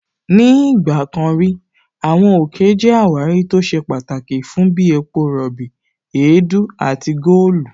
Ní ìgbà kan rí, Àwọn òkè jẹ́ àwárí tó ṣe pàtàkì fún bí epo rọ̀bì, èédú àti góòlù